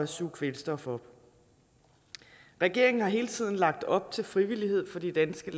suge kvælstof op regeringen har hele tiden lagt op til frivillighed for de danske